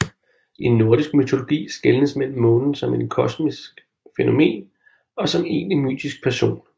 I nordisk mytologi skelnes mellem månen som kosmisk fænomen og som egentlig mytisk person